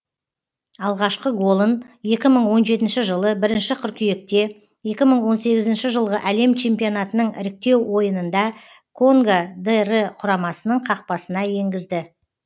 алғашқы голын екі мың он жетінші жылы бірінші қыркүйекте екі мың он сегізінші жылғы әлем чемпионатының іріктеу ойынында конго др құрамасының қақпасына енгізді